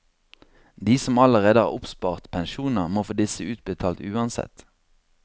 De som allerede har oppspart pensjoner, må få disse utbetalt uansett.